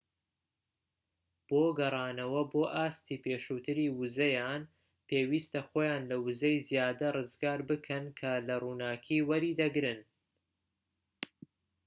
بۆ گەڕانەوە بۆ ئاستی پێشووتری ووزەیان پێویستە خۆیان لە ووزەی زیادە ڕزگار بکەن کە لە ڕووناكی وەریدەگرن